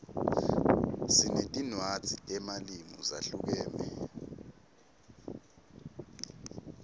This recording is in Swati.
sinetinwadzi temalimu zahlukeme